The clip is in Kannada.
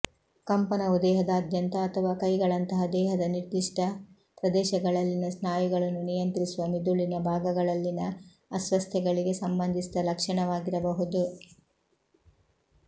ಕಂಪನವು ದೇಹದಾದ್ಯಂತ ಅಥವಾ ಕೈಗಳಂತಹ ದೇಹದ ನಿರ್ದಿಷ್ಟ ಪ್ರದೇಶಗಳಲ್ಲಿನ ಸ್ನಾಯುಗಳನ್ನು ನಿಯಂತ್ರಿಸುವ ಮಿದುಳಿನ ಭಾಗಗಳಲ್ಲಿನ ಅಸ್ವಸ್ಥತೆಗಳಿಗೆ ಸಂಬಂಧಿಸಿದ ಲಕ್ಷಣವಾಗಿರಬಹುದು